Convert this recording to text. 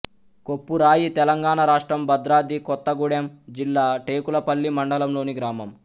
కొప్పురాయి తెలంగాణ రాష్ట్రం భద్రాద్రి కొత్తగూడెం జిల్లా టేకులపల్లి మండలంలోని గ్రామం